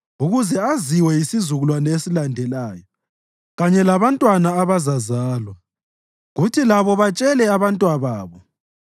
ukuze aziwe yisizukulwane esilandelayo, kanye labantwana abazazalwa, kuthi labo batshele abantwababo.